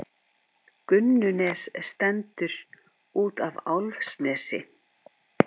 Gunnunes stendur út af Álfsnesi.